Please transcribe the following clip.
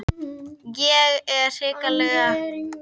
Þeir dæmdu mjög vel en ég hefði samt viljað víti.